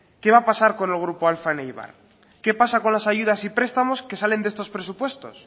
qué va a pasar con el grupo alfa en eibar qué pasa con las ayudas y prestamos que salen de estos presupuestos